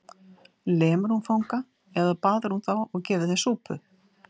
Lemur hún fanga eða baðar hún þá og gefur þeim súpu?